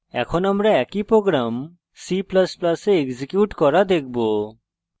এখন আমরা একই program c ++ we execute করা দেখবো